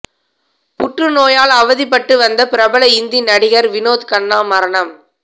புற்றுநோயால் அவதிப்பட்டு வந்த பிரபல இந்தி நடிகர் வினோத் கன்னா மரணம்